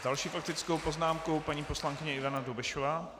S další faktickou poznámkou paní poslankyně Ivana Dobešová.